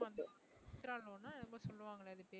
Chitra loan ஆ ஏதோ சொல்லுவாங்களே அது பேரு